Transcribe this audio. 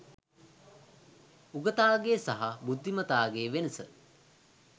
උගතාගේ සහ බුද්ධිමතාගේ වෙනස